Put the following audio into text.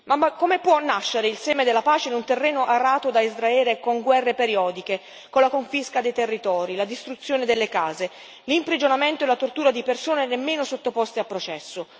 Ma come può nascere il seme della pace in un terreno arato da Israele con guerre periodiche, con la confisca dei territori, la distruzione delle case, l'imprigionamento e la tortura di persone nemmeno sottoposte a processo?